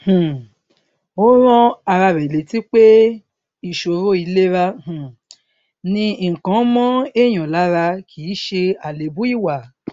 um ó rán ara rè létí pé ìṣòro ìlera um ni nǹkan mọ èèyàn lára kì í ṣe àléébù ìwà